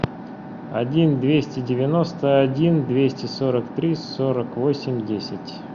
один двести девяносто один двести сорок три сорок восемь десять